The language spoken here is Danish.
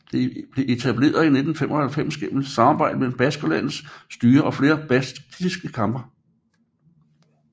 Det blev etableret i 1995 gennem et samarbejde mellem Baskerlandets styre og flere baskiske banker